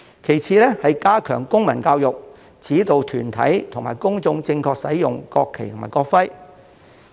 其次是加強公民教育，指導團體及公眾正確使用國旗和國徽。